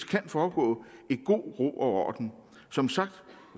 kan foregå i god ro og orden som sagt